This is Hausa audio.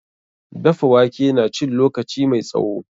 Dafa wake na cin lokaci mai tsawo.